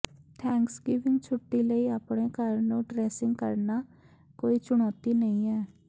Thanksgiving ਛੁੱਟੀ ਲਈ ਆਪਣੇ ਘਰ ਨੂੰ ਡ੍ਰੈਸਿੰਗ ਕਰਨਾ ਕੋਈ ਚੁਣੌਤੀ ਨਹੀਂ ਹੈ